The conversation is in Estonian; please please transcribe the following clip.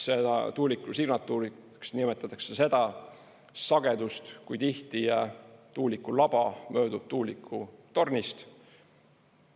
Tuuliku signatuuriks nimetatakse seda sagedust, kui tihti tuulikulaba möödub tuulikutornist.